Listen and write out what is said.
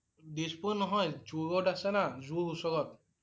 দিছপুৰ নহয়। Zoo road আছে না। zoo ওচৰত